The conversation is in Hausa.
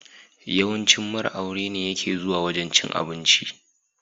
Yawancin mara aure ne yake zuwa wajan cin abinci.